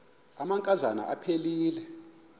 amanka zana aphilele